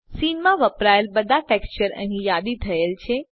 scene માં વપરાયેલ બધા ટેક્સચર અહીં યાદી થયેલ છે